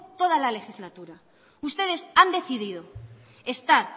toda la legislatura ustedes han decidido estar